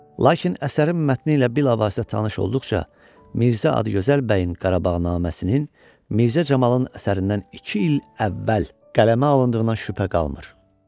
Lakin əsərin mətni ilə bilavasitə tanış olduqca Mirzə Adıgözəl bəyin Qarabağnaməsinin Mirzə Camalın əsərindən iki il əvvəl qələmə alındığına şübhə qalmır.